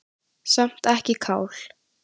Samt ekki kál.